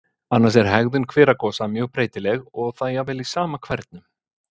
Annars er hegðun hveragosa mjög breytileg og það jafnvel í sama hvernum.